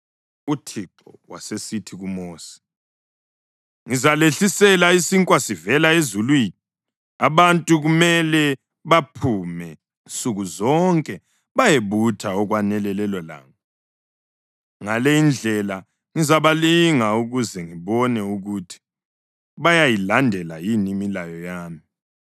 UThixo wasesithi kuMosi, “Ngizalehlisela isinkwa sivela ezulwini. Abantu kumele baphume nsuku zonke bayebutha okwanela lelolanga. Ngale indlela ngizabalinga ukuze ngibone ukuthi bayayilandela yini imilayo yami.